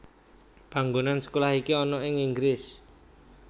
Panggonan sekolah iki ana ing Inggris